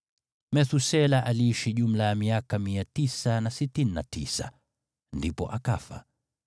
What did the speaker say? Methusela aliishi jumla ya miaka 969, ndipo akafa.